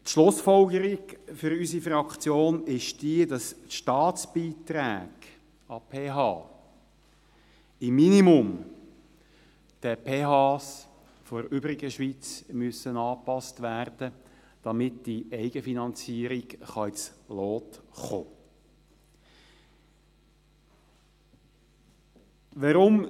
Die Schlussfolgerung für unsere Fraktion ist die, dass die Staatsbeiträge an die PH im Minimum den PH der übrigen Schweiz angepasst werden müssen, damit die Eigenfinanzierung ins Lot kommen kann.